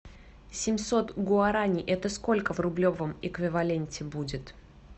семьсот гуарани это сколько в рублевом эквиваленте будет